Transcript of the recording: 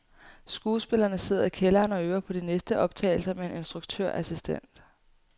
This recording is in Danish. Skuespillerne sidder i kælderen og øver på de næste optagelser med en instruktørassistent.